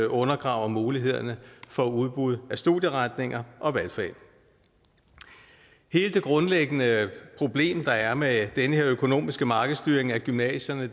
undergraver mulighederne for udbud af studieretninger og valgfag hele det grundlæggende problem der er med den her økonomiske markedsstyring af gymnasierne